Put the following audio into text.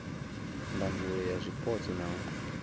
ndangulo ya zwipotso na u